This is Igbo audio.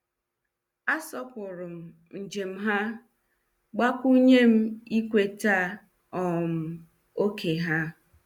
A sopurum njem ha, gbakwunyem ikweta um oké ha.